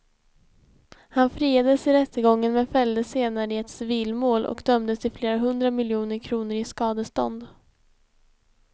Han friades i rättegången men fälldes senare i ett civilmål och dömdes till flera hundra miljoner kronor i skadestånd.